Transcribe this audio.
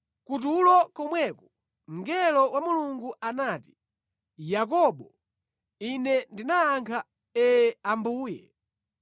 Kutulo komweko, mngelo wa Mulungu anati, ‘Yakobo.’ Ine ndinayankha, ‘Ee, Ambuye.’